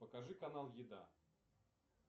покажи канал еда